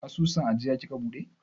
Asusun ajiya kika buɗe?